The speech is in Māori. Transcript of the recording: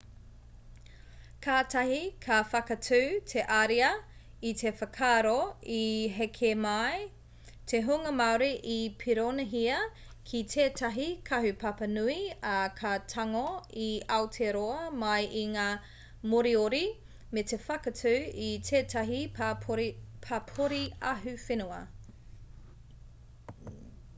kātahi ka whakatū te ariā i te whakaaro i heke mai te hunga māori i poronīhia ki tētahi kahupapa nui ā ka tango i aotearoa mai i ngā moriori me te whakatū i tētahi papori ahuwhenua